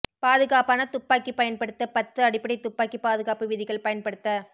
பாதுகாப்பான துப்பாக்கி பயன்படுத்த பத்து அடிப்படை துப்பாக்கி பாதுகாப்பு விதிகள் பயன்படுத்த